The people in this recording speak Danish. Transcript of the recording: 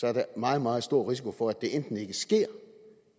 er der en meget meget stor risiko for at det enten ikke sker